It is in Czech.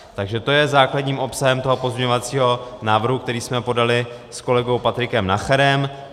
Takže to je základním obsahem toho pozměňovacího návrhu, který jsme podali s kolegou Patrikem Nacherem.